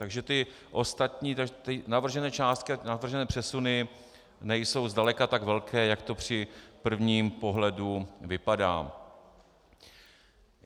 Takže ty ostatní navržené částky, navržené přesuny nejsou zdaleka tak velké, jak to při prvním pohledu vypadá.